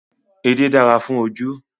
Edé dára fún ojú